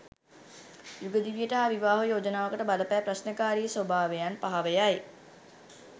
යුග දිවියට හා විවාහ යෝජනාවකට බලපෑ ප්‍රශ්නකාරී ස්භාවයන් පහව යයි.